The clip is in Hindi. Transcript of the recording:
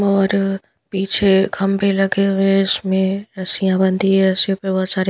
और पीछे खंबे लगे हुए हैं इसमें रस्सियाँ बनती है रस्सियों पे बहुत सारे --